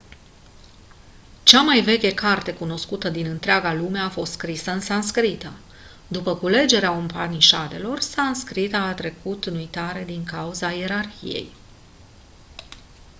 cea mai veche carte cunoscută din întreaga lume a fost scrisă în sanscrită după culegerea upanișadelor sanscrita a trecut în uitare din cauza ierarhiei